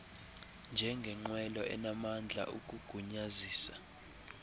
njengengqwelo enamandla ukugunyazisa